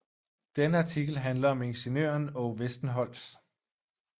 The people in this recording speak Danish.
Denne artikel handler om ingeniøren Aage Westenholz